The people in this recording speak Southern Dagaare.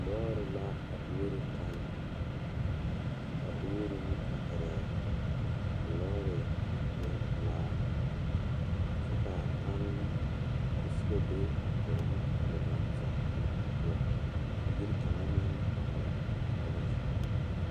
Lore la kaŋa are la pegle bɔtuloŋ kaa pɔge are kaa zu waa pelaa su kpare ziɛ kaa bamine meŋ teɛ ba nuure kyɛ ba a wire ba nyɛmɛ.